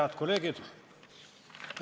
Head kolleegid!